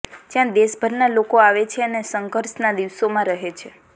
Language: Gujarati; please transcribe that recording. જ્યાં દેશભરના લોકો આવે છે અને સંઘર્ષના દિવસોમાં રહે છે